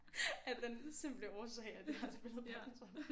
Af den simple årsag at jeg har spillet badminton